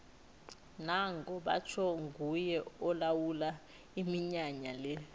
nango batjho nguye olawula iminyanya le